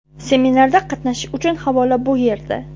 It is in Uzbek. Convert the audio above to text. Seminarda qatnashish uchun havola bu yerda.